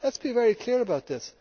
Let us be very clear about this.